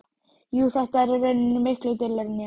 Jú, þú ert í rauninni miklu duglegri en ég.